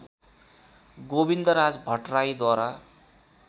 Govindraj भट्टराईद्वारा